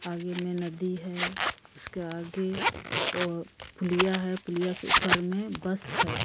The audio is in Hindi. आगे में नदी है उसके आगे और पुलिया है पुलिया के ऊपर में बस है।